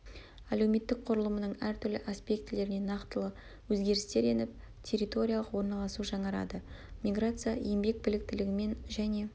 әлеуметтік құрылымының әр түрлі аспектілеріне нақтылы өзгерістер еніп территориялық орналасу жаңарады миграция еңбек біліктілігімен және